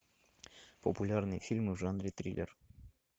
популярные фильмы в жанре триллер